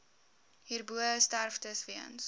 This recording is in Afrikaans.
hierbo sterftes weens